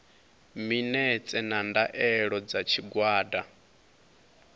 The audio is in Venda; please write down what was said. minetse na ndaela dza tshigwada